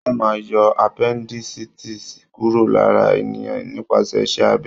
Wọ́n máa ń yọ appendicitis kúrò lára ènìyàn nípasẹ̀ iṣẹ́ abẹ.